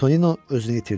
Tonino özünü itirdi.